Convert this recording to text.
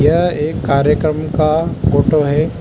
यह एक कार्यक्रम का फोटो है।